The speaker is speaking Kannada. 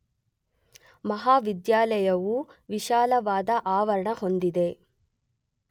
ಮಹಾವಿದ್ಯಾಲಯವು ವಿಶಾಲವಾದ ಆವರಣ ಹೊಂದಿದೆ.